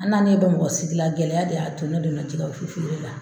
An na nin Bamakɔ sigila, gɛlɛya de y'a ne donna cɛgɛ fere la.